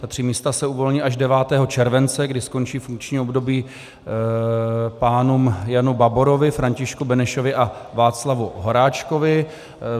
Ta tři místa se uvolní až 9. července, kdy skončí funkční období pánům Janu Baborovi, Františku Benešovi a Václavu Horáčkovi.